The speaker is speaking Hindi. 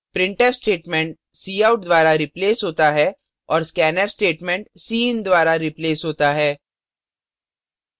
printf statement cout द्वारा replaced होता है और scanf statement cin द्वारा replaced होता है